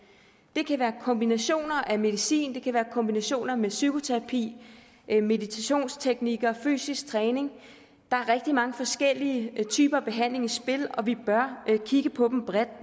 det kan være kombinationer af medicin det kan være kombinationer med psykoterapi meditationsteknikker fysisk træning der er rigtig mange forskellige typer behandling i spil og vi bør kigge på dem bredt